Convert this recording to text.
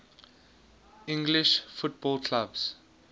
english football clubs